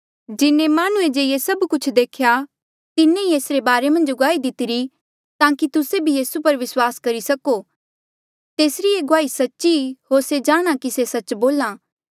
जिन्हें माह्णुंऐ जे ये सब कुछ देख्या तिन्हें ही एसरे बारे मन्झ गुआही दितिरी ताकि तुस्से भी यीसू पर विस्वास करी सको तेसरी ये गुआही सच्ची ई होर से जाणहां कि से सच्च बोल्हा